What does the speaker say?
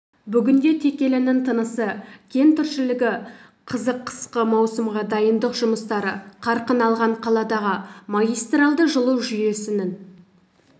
бүгінде текелінің тынысы кең тіршілігі қызық қысқы маусымға дайындық жұмыстары қарқын алған қаладағы магистральді жылу жүйесінің